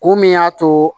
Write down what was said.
Kun min y'a to